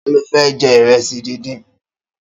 Ta ló fẹ́ jẹ ìrẹsì díndín?